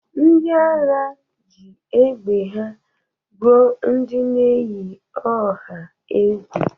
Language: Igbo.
Ndị agha ji egbe ha gbụọ ndị na-eyi ọha egwu.